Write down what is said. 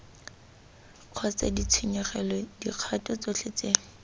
kgotsa ditshenyegelo dikgato tsotlhe tse